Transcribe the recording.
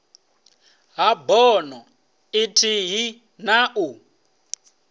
ha bono ithihi na u